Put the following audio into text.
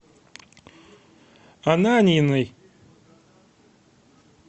ананьиной